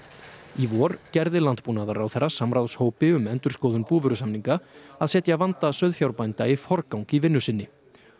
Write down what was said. í vor gerði landbúnaðarráðherra samráðshópi um endurskoðun búvörusamninga að setja vanda sauðfjárbænda í forgang í vinnu sinni